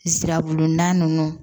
Sirabulon na